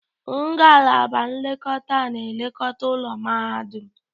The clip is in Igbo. Ngalaba nlekọta na-elekọta ụlọ mahadum.